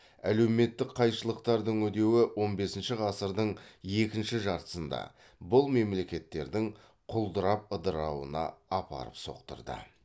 әлеуметтік қайшылықтардың үдеуі он бесінші ғасырдың екінші жартысында бұл мемлекеттердің құлдырап ыдырауына апарып соқтырды